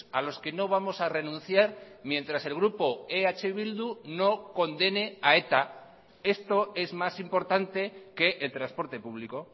a los que no vamos a renunciar mientras el grupo eh bildu no condene a eta esto es más importante que el transporte público